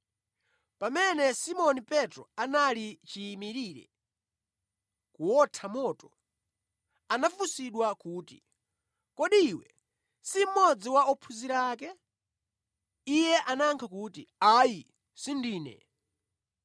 Pamene Simoni Petro anali chiyimirire kuwotha moto, anafunsidwa kuti, “Kodi iwe si mmodzi wa ophunzira ake?” Iye anayankha kuti, “Ayi, sindine.”